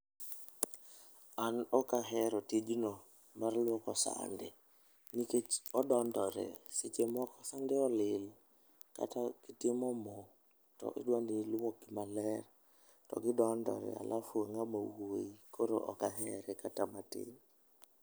An ok ahero tijno mar lwoko sande nikech odondore seche moko sande olil kata gi timo moo to idwa ni iluok ma ler to gi dondore alafu i ngama wuoi koro ok ahere kata matin.